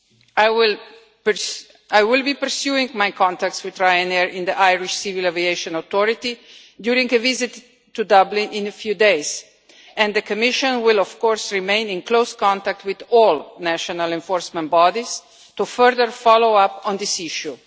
I will be pursuing my contacts with Ryanair in the Irish civil aviation authority during a visit to Dublin in a few days, and the Commission will of course remain in close contact with all national enforcement bodies to further follow up on this issue.